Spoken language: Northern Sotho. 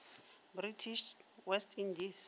british west indies